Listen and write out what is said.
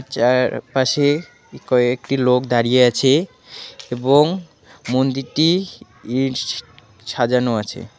চারপাশে কয়েকটি লোক দাঁড়িয়ে আছে এবং মন্দিরটি ই সাজানো আছে।